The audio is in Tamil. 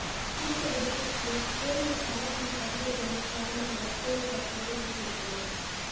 குறித்த விபத்திற்கு பேருந்து சாரதியின் அதிவேகமே காரணம் என பொலிசார் சந்தேகிக்கின்றனர்